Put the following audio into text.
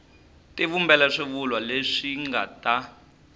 tivumbela swivulwa leswi nga ta